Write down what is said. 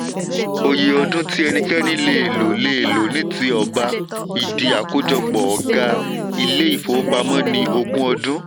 òye ọdún tí ẹnikẹ́ni lè lò lè lò ní ti ọ̀ba ìdí akójọpọ̀ ọ̀gá ilé ifówopàmọ́ ni ogún ọdún.